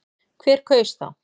Hver kaus þá?